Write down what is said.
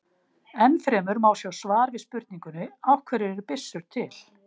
Enn fremur má sjá svar við spurningunni Af hverju eru byssur til?